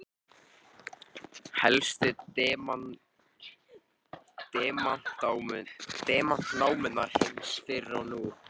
helstu demantanámur heims fyrr og nú